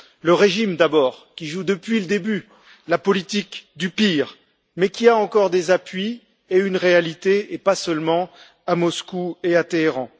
Le régime d'abord, qui joue depuis le début la politique du pire, mais qui a encore des appuis et une réalité, pas seulement à Moscou et à Téhéran.